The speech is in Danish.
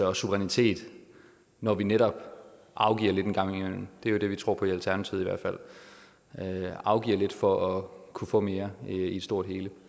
og suverænitet når vi netop afgiver lidt en gang imellem det er det vi tror på alternativet at man afgiver lidt for at kunne få mere i det store og hele